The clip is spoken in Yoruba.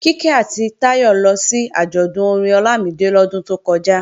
Kíkẹ́ àti Táyọ lọ sí àjọ̀dún orin Ọlámídé lọ́dún tó kọjá